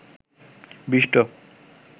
ব্ষ্টি